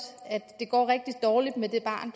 at det går rigtig dårligt med det barn